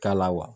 K'a la wa